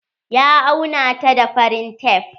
Ya auna ta da farin tef.